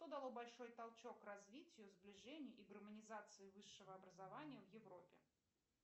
что дало большой толчок развитию сближению и гармонизации высшего образования в европе